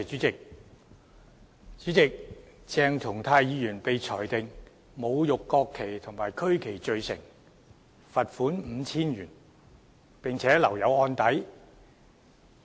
主席，鄭松泰議員被裁定侮辱國旗及區旗罪成，罰款 5,000 元，並留有案底。